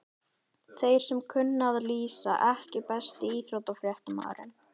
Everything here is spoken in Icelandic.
Þeir sem kunna að lýsa EKKI besti íþróttafréttamaðurinn?